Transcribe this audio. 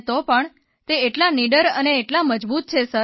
તો પણ તે એટલા નિડર અને એટલા મજબૂત છે સર